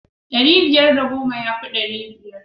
Ɗari biyar da goma yafi ɗari biyar.